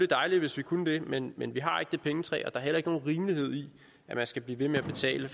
dejligt hvis vi kunne det men men vi har ikke det pengetræ og der er heller ikke nogen rimelighed i at man skal blive ved med at betale